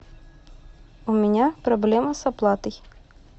у меня проблема с оплатой